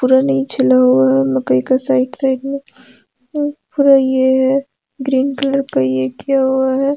पूरा नहीं छिला हुआ है मकई के साइड साइड में पूरा ए हैग्रीन कलर का ये किया हुआ है।